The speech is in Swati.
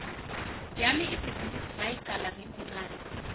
yami ibhizinisi ngayicala ngimuncane